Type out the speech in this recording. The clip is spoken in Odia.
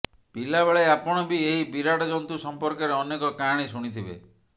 ପିଲାବେଳେ ଆପଣ ବି ଏହି ବିରାଟ ଜନ୍ତୁ ସମ୍ପର୍କରେ ଅନେକ କାହାଣୀ ଶୁଣିଥିବେ